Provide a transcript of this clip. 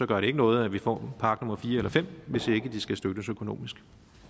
gør det ikke noget at vi får en park nummer fire eller fem hvis ikke de skal støttes økonomisk